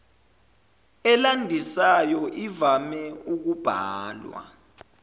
elandisayo ivame ukubhalwa